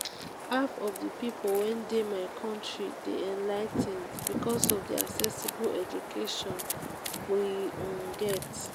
half of the people wey dey my country dey enligh ten ed because of the accessible education we um get